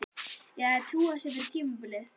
Hver hefði trúað þessu fyrir tímabilið?